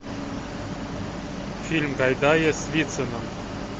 фильм гайдая с вициным